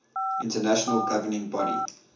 international governing body